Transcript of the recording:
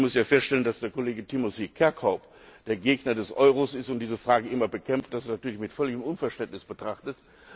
Und ich muss hier feststellen, dass der Kollege Timothy Kirkhope, der Gegner des Euro ist und diese Frage immer bekämpft, dies natürlich mit völligem Unverständnis betrachtet.